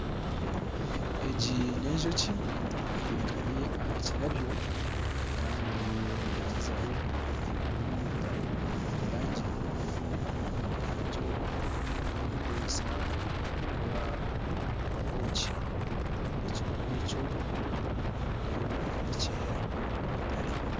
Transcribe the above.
Egi n'enjoki etekami aha kirabwo kandi negyezeho kunyunyuta mu omweyangye. Omweyangye ogwe nigwe erikukoresa omu kukora obwoki. Ekimuri ekyo nindeba nikyera ni mutare.